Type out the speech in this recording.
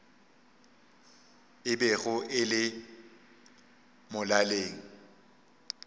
e bego e le molaleng